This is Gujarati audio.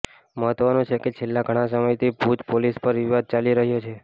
મહત્વનું છે કે છેલ્લા ઘણા સમયથી ભુજ પોલીસ પર વિવાદ ચાલી રહ્યા છે